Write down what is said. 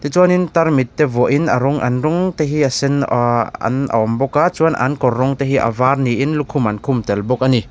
chuanin tarmit te vuahin a rawn an rawng te hi a sen aahh an a awm bawk a chuan an kawr rawng te hi a var niin an lukhum an khum tel bawk a ni.